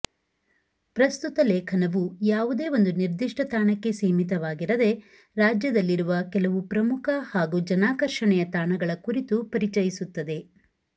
ಪ್ರಸ್ತುತ ಲೇಖನವು ಯಾವುದೆ ಒಂದು ನಿರ್ದಿಷ್ಟ ತಾಣಕ್ಕೆ ಸೀಮಿತವಾಗಿರದೆ ರಜ್ಯದಲ್ಲಿರುವ ಕೆಲವು ಪ್ರಮುಖ ಹಾಗೂ ಜನಾಕರ್ಷಣೆಯ ತಾಣಗಳ ಕುರಿತು ಪರಿಚಯಿಸುತ್ತದೆ